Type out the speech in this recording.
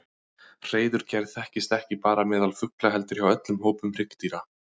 Hreiðurgerð þekkist ekki bara meðal fugla heldur hjá öllum hópum hryggdýra.